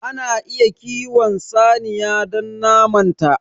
Ana iya kiwon saniya don naman ta.